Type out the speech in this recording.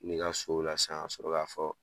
Kule i ka sow la sa, ka sɔrɔ ka fɔ